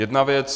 Jedna věc.